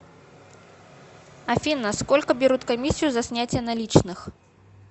афина сколько берут комиссию за снятие наличных